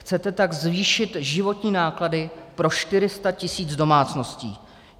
Chcete tak zvýšit životní náklady pro 400 tisíc domácností.